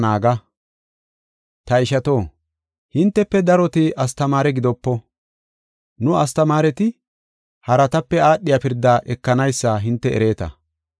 Ta ishato, hintefe daroti astamaare gidopo. Nu, astamaareti haratape aadhiya pirdaa ekanaysa hinte ereeta.